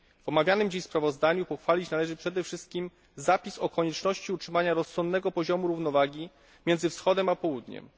W omawianym dziś sprawozdaniu pochwalić należy przede wszystkim zapis o konieczności utrzymania rozsądnego poziomu równowagi miedzy Wschodem a Południem.